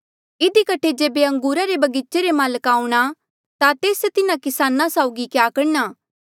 इधी कठे जेबे अंगूरा रे बगीचे रे माल्का आऊंणा ता तेस तिन्हा किसाना साउगी क्या करणा